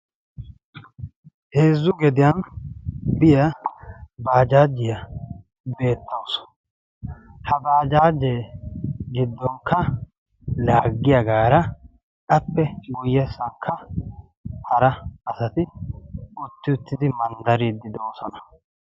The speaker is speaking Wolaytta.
heezzu gediyan biyaa baajaajiyaa beettawusu ha baajaajee giddonkka laaggiyaagaara appe guyye sakka hara asati utti uttidi manddariiddi do'osona